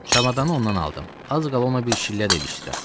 Çamadanı ondan aldım, az qaldı ona bir şillə də ilişdirəm.